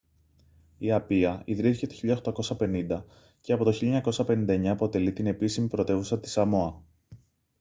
η απία ιδρύθηκε το 1850 και από το 1959 αποτελεί την επίσημη πρωτεύουσα της σαμόα